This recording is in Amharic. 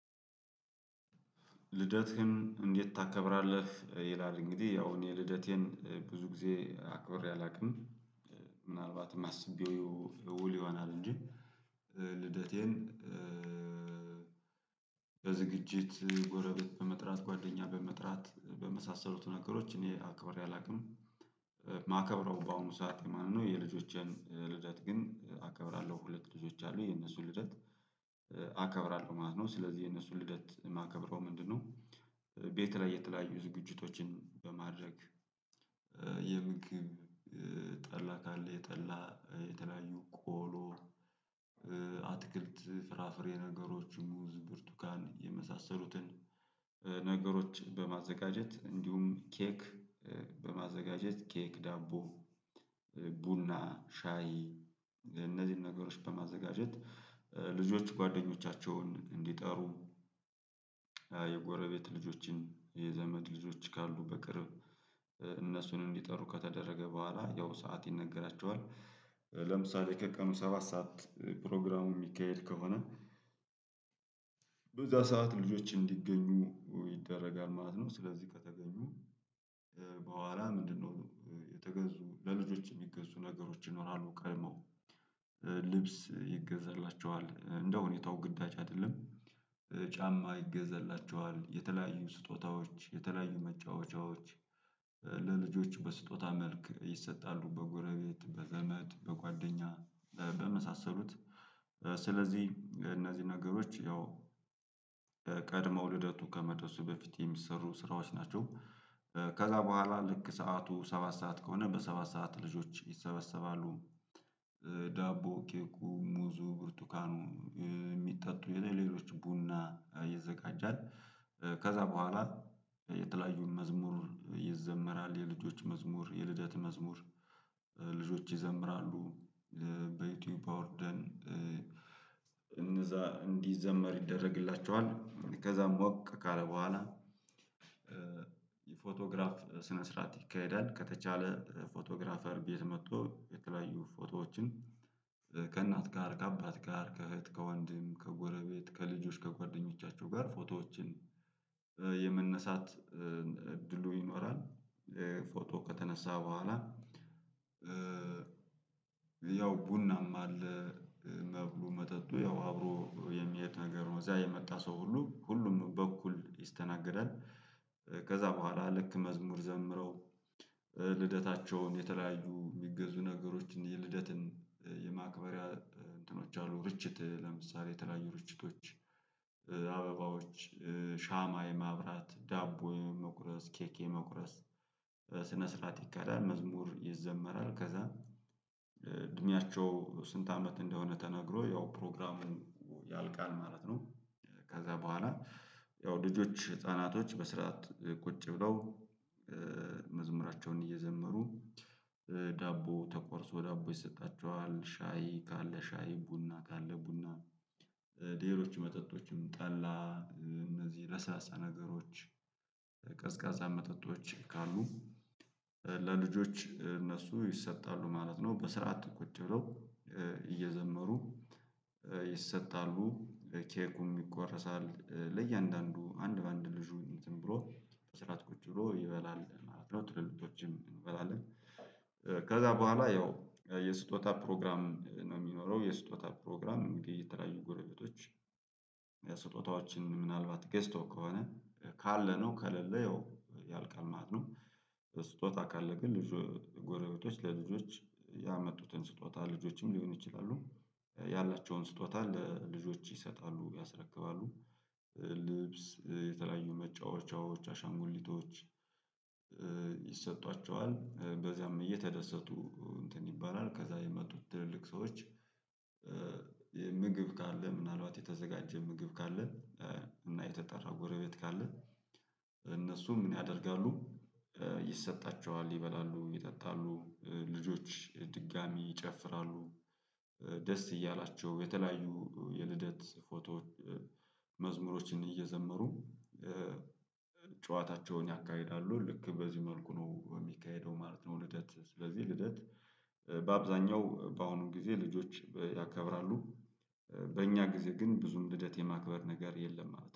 ልደትህን እንዴት ታከብራለህ? ይላል እንግዲህ ያው እኔ ልደቴን ብዙ ጊዜ አክብሬ አላውቅም። ምናልባትም የማስበው እውል ይሆናል እንጂ ልደቴን በዝግጅት ጎረቤት በመጥራት ጓደኛ በመጥራት በመሳሰሉት ነገሮች እኔ አክብሬ አላውቅም። የማከብረው በአሁኑ ሰዓት የማን ነው የልጆችን ልደት ግን አከብራለሁ ሁለት ልጆች አሉ የነሱን ልደት አከብራለሁ ማለት ነው ስለዚህ የነሱን ልደት የማከብረው ምንድነው ቤት ላይ የተለያዩ ዝግጅቶችን በማድረግ የምግብ፤ ጠላ ካለ የጠላ፤ የተለያዩ ቆሎ አትክልት ፍራፍሬ ነገሮች ሙዝ ብርቱካን የመሳሰሉትን ነገሮች በማዘጋጀት እንዲሁም ኬክ በማዘጋጀት ኬክ ዳቦ ቡና ሻይ እነዚህን ነገሮች በማዘጋጀት ልጆች ጓደኞቻቸውን እንዲጠሩ የጎረቤት ልጆችን የዘመድ ልጆች ካሉ በቅርብ እነሱን እንዲጠሩ ከተደረገ በኋላ ያው ሰዓት ይነገራቸዋል። ለምሳሌ ከቀኑ ሰባት ሰዓት ፕሮግራሙ የሚካሄድ ከሆነ በዛ ሰዓት ልጆች እንዲገኙ ይደረጋል ማለት ነው። ስለዚህ ከተገኙ በኋላ ምንድነው የተገዙ ለልጆች የሚገዙ ነገሮች ይኖራሉ ቀድሞ። ልብስ ይገዛላቸዋል እንደ ሁኔታው ግዳጅ አይደለም ጫማ ይገዛላቸዋል። የተለያዩ ስጦታዎች የተለያዩ መጫወቻዎች ለልጆች በስጦታ መልክ ይሰጣሉ በጎረቤት በዘመድ በጓደኛ በመሳሰሉት ስለዚህ እነዚህ ነገሮች ያው ቀድመው ልደቱ ከመድረሱ በፊት የሚሰሩ ስራዎች ናቸው። ከዛ በኋላ ልክ ሰዓቱ ሰባት ሰዓት ከሆነ በሰባት ሰዓት ልጆች ይሰበሰባሉ። ዳቦ ኬኩ ሙዙ ብርቱካኑ የሚጠጡ ሌሎችም ቡና ይዘጋጃል። ከዛ በኋላ የተለያዩን መዝሙር ይዘመራል የልጆች መዝሙር የልደት መዝሙር ልጆች ይዘምራሉ በዩቲዩብ አዉርደን እነዛ እንዲዘመር ይደረግላቸዋል። ከዛ ሞቅ ካለ በኋላ የፎቶግራፍ ስነ ስርዓት ይካሄዳል። ከተቻለ ፎቶግራፈር ቤት መጥቶ የተለያዩ ፎቶዎችን ከእናት ጋር ከአባት ጋር ከእህት ከወንድም ከጎረቤት ከልጆች ከጓደኞቻቸው ጋር ፎቶዎችን የመነሳት እድሉ ይኖራል ፎቶ ከተነሳ በኋላ ያው ቡናም አለ መብሉ መጠጡ ያው አብሮ የሚሄድ ነገር ነው እዚያ የመጣ ሰው ሁሉ ሁሉም በኩል ይስተናገዳል። ከዛ በኋላ ልክ መዝሙር ዘምረው ልደታቸውን የተለያዩ የሚገዙ ነገሮችን የልደትን ማክበርያ እንትኖች አሉ ርችት ለምሳሌ የተለያዩ ርችቶች አበባዎች ሻማ የማብራት ዳቦ የመቁረስ ኬኬ መቁረስ ስነ ስርዓት ይከዳናል፤ መዝሙር ይዘመራል ከዛ እድሜያቸው ስንት አመት እንደሆነ ተነግሮ ያው ፕሮግራሙ ያልቃል ማለት ነው። ከዛ በኋላ ያው ልጆች ህፃናቶች በስርዓት ቁጭ ብለው መዝሙራቸውን እየዘመሩ ዳቦ ተቆርሶ ዳቦ ይሰጣቸዋል ሻይ ካለ ሻይ ቡና ካለ ቡና ሌሎች መጠጦችም ጠላ እነዚህ ለስላሳ ነገሮች ቀዝቃዛ መጠጦች ካሉ ለልጆች እነሱ ይሰጣሉ ማለት ነው። በስርዓት ቁጭ ብለው እየዘመሩ ይሰጣሉ ኬኩም ይቆረሳል ለእያንዳንዱ አንድ በአንድ ልጁ እንትን ብሎ በስራት ቁጭ ብሎ ይበላል ማለት ነው ትልልቶችም እንበላለን ከዛ በኋላ ያው የስጦታ ፕሮግራም ነው የሚኖረው የስጦታ ፕሮግራም እንግዲህ የተለያዩ ጎረጎቶች የስጦታዎችን ምናልባት ገዝተው ከሆነ ካለነው ከሌለ ያው ያልቃል ማለት ነው። ስጦታ ካለ ግን ልጅ ጎረቤቶች ለልጆች ያመጡትን ስጦታ ልጆችም ሊሆን ይችላሉ ያላቸውን ስጦታ ለልጆች ይሰጣሉ ያስረክባሉ ልብስ የተለያዩ መጫወቻዎች፤ አሻንጉሊቶች፤ ይሰጧቸዋል። በዚያም እየተደሰቱ እንትን ይባላል ከዛ የመጡት ትልልቅ ሰዎች ምግብ ካለ ምናልባት የተዘጋጀ ምግብ ካለ እና የተጠራው ጎረቤት ካለ እነሱ ምን ያደርጋሉ ይሰጣቸዋል ይበላሉ ይጠጣሉ። ልጆች ድጋሚ ይጨፍራሉ ደስ እያላቸው የተለያዩ የልደት ፎቶ መዝሙሮችን እየዘመሩ ጨዋታቸውን ያካሂዳሉ ልክ በዚህ መልኩ ነው በሚካሄደው ማለት ነው ልደት ስለዚህ ልደት በአብዛኛው በአሁኑም ጊዜ ልጆች ያከብራሉ። በእኛ ጊዜ ግን ብዙም ልደት የማክበር ነገር የለም ማለት ነው።